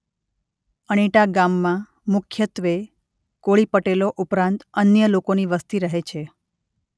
અણીટા ગામમાં મુખ્યત્વે કોળી પટેલો ઉપરાંત અન્ય લોકોની વસ્તી રહે છે.